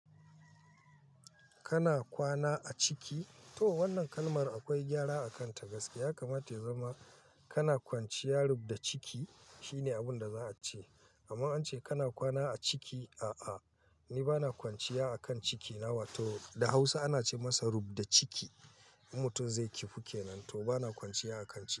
Kana kwana a ciki? To wannan kalmar akwai gyara a kanta gaskiya. Kamata ya zama kana kwanciya rub da ciki shine abinda za a ce. Amma an ce kana kwana a ciki, a'a. Ni bana kwanciya a kan ciki na, wato da Hausa ana ce masa rub da ciki. Mutum zai kifu kenan to bana kwanciya a kan ciki.